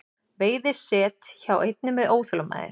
Veiði set hjá einni með óþolinmæði